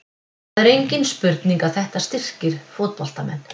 Það er engin spurning að þetta styrkir fótboltamenn.